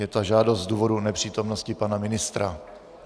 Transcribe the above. Je ta žádost z důvodu nepřítomnosti pana ministra.